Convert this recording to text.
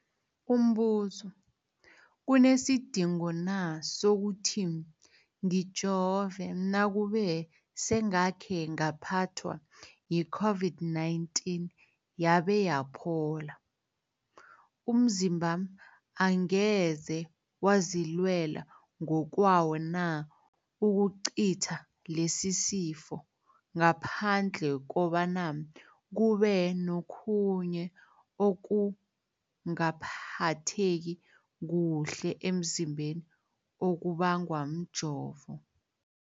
Umbuzo, kunesidingo na sokuthi ngijove nakube sengakhe ngaphathwa yi-COVID-19 yabe yaphola? Umzimbami angeze wazilwela ngokwawo na ukucitha lesisifo, ngaphandle kobana kube nokhunye ukungaphatheki kuhle emzimbeni okubangwa mjovo?